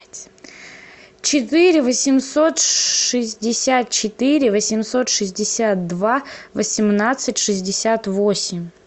четыре восемьсот шестьдесят четыре восемьсот шестьдесят два восемнадцать шестьдесят восемь